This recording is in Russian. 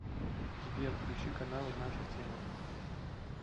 сбер включи каналы наша тема